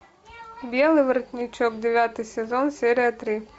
белый воротничок девятый сезон серия три